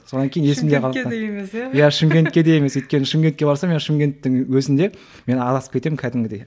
сонан кейін есімде қалыпты өйткені шымкентке барсам мен шымкенттің өзінде мен адасып кетемін кәдімгідей